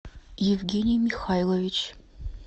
евгений михайлович